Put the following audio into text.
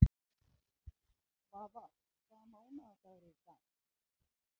Svafar, hvaða mánaðardagur er í dag?